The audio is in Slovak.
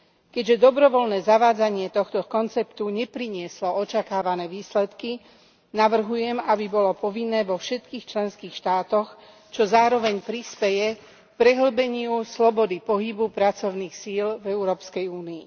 Keďže dobrovoľné zavádzanie tohto konceptu neprinieslo očakávané výsledky, navrhujem, aby bolo povinné vo všetkých členských štátoch, čo zároveň prispeje k prehĺbeniu slobody pohybu pracovných síl v Európskej únii.